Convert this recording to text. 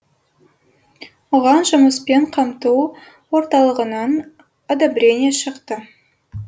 оған жұмыспен қамту орталығынан одобрение шықты